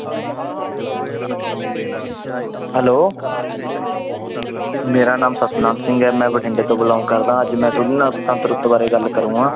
Hello ਮੇਰਾ ਨਾਮ ਸਤਿਨਾਮ ਸਿੰਘ ਹੈ l ਮੈਂ ਬਠਿੰਡੇ ਤੋਂ belong ਕਰਦਾ ਹਾਂ ਅੱਜ ਮੈਂ ਤੁਹਾਡੇ ਨਾਲ ਬਸੰਤ ਰੁੱਤ ਬਾਰੇ ਗੱਲ ਕਰਾਂਗਾ।